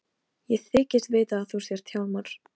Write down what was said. Ég þykist vita að þú sért Hjálmar.